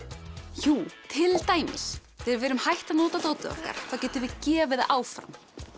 jú til dæmis þegar við erum hætt að nota dótið okkar þá getum við gefið það áfram